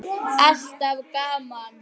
Alltaf gaman.